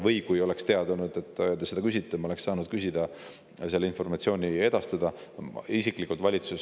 Kui ma oleks teadnud, et te seda küsite, siis ma oleksin saanud küsida seda informatsiooni, edastada.